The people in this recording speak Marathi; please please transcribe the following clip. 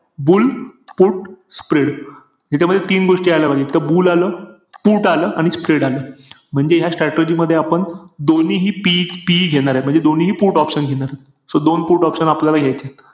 Bull put spread ह्याच्यामध्ये तीन गोष्टी यायला पाहिजेत. एक त bull आलं. put आलं. आणि spread आलं. म्हणजे ह्या strategy मध्ये आपण दोन्हीही PE-PE घेणारे. म्हणजे दोन्हीही put option घेणारे. So दोन put option आपल्याला घायचेय.